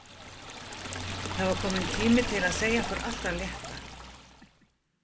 Það var kominn tími til að segja okkur allt af létta.